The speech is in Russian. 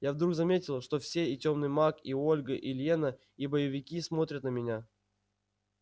я вдруг заметил что все и тёмный маг и ольга и лена и боевики смотрят на меня